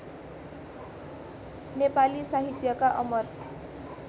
नेपाली साहित्यका अमर